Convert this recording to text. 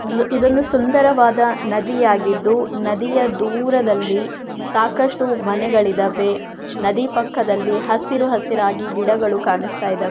ಇದೊಂದು ಸುಂದರವಾದ ನದಿಯಾಗಿದ್ದು ನದಿಯ ದೂರದಲ್ಲಿ ಸಾಕಷ್ಟು ಮನೆಗಳಿದಾವೆ ನದಿ ಪಕ್ಕದಲ್ಲಿ ಹಸಿರು ಹಸಿರಾಗಿ ಗಿಡಗಳು ಕಾಣಿಸ್ತಾ ಈದವೇ --